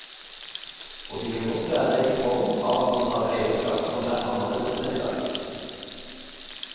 Og de kan godt være i form av at man har eierskap som er annerledes enn i dag.